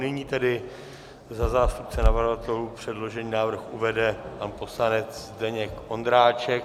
Nyní tedy za zástupce navrhovatelů předložený návrh uvede pan poslanec Zdeněk Ondráček.